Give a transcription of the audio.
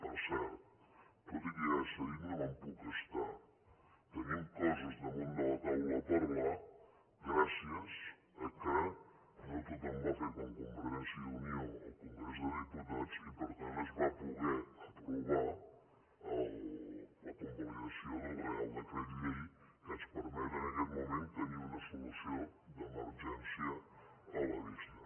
per cert tot i que ja s’ha dit no me’n puc estar tenim coses damunt de la taula a parlar gràcies al fet que no tothom va fer com convergència i unió al congrés dels diputats i per tant es va poder aprovar la convalidació del reial decret llei que ens permet en aquest moment tenir una solució d’emergència a la vista